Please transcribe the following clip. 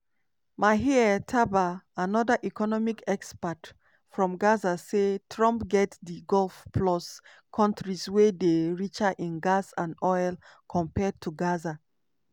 maher tabaa anoda economic expert from gaza say "trump get di gulf plus kontris wey dey richer in gas and oil compared to gaza.